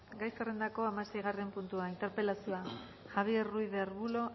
gai zerrendako hamaseigarren puntua interpelazioa javier ruiz de arbulo